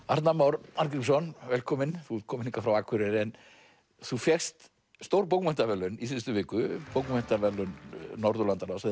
Arnar Már Arngrímsson velkominn þú ert kominn hingað frá Akureyri þú fékkst stór bókmenntaverðlaun í síðustu viku bókmenntaverðlaun Norðurlandaráðs eða